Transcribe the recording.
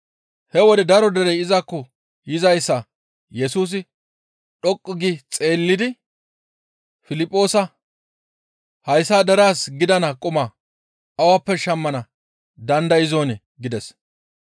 He wode daro derey izakko yizayssa Yesusi dhoqqu gi xeellidi Piliphoosa, «Hayssa deraas gidana quma awappe shammana dandayzonii?» gides.